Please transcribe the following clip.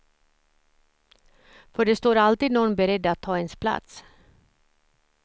För det står alltid någon beredd att ta ens plats.